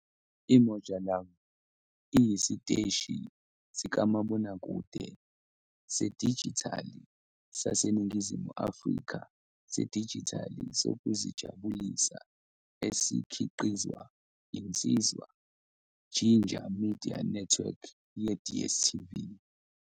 IMoja Love iyisiteshi sikamabonakude sedijithali saseNingizimu Afrika sedijithali sokuzijabulisa esikhiqizwa yiNsizwa Ginger Media Network yeDStv.